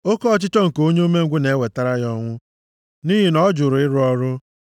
Oke ọchịchọ nke onye umengwụ na-ewetara ya ọnwụ nʼihi na ọ jụrụ ịrụ ọrụ.